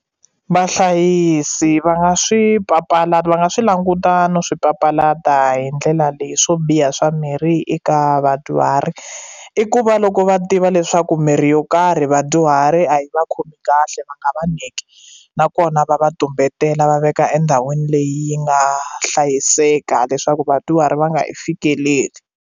Vahlayisi va nga swi papalata va nga swi languta no swi papalata hi ndlela leyi swo biha swa mirhi eka vadyuhari i ku va loko va tiva leswaku mirhi yo karhi vadyuhari a yi va khomi kahle va nga nyiki nakona va va tumbetela va veka endhawini leyi nga hlayiseka leswaku vadyuhari va nga yi fikeleli.